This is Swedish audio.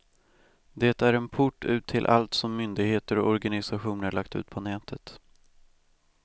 Det är en port ut till allt som myndigheter och organisationer lagt ut på nätet.